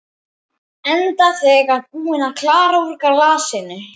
Enda þegar búin að klára úr glasinu.